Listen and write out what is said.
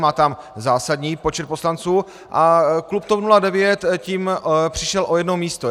Má tam zásadní počet poslanců a klub TOP 09 tím přišel o jedno místo.